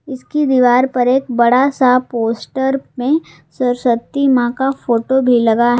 इसकी दीवार पर एक बड़ा सा पोस्टर में सरस्वती मां का फोटो भी लगा--